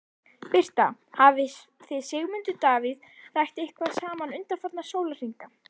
Birta: Hafið þið Sigmundur Davíð rætt eitthvað saman undanfarna sólarhringa?